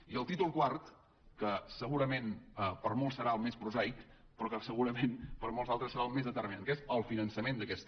i el títol quart que segurament per molts serà el més prosaic però que segurament per molts altres serà el més determinant que és el finançament d’aquesta